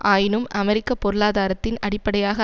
ஆயினும் அமெரிக்க பொருளாதாரத்தின் அடிப்படையாக